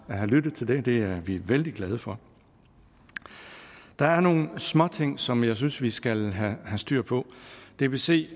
have lyttet til det det er vi vældig glade for der er nogle småting som jeg synes vi skal have styr på dbc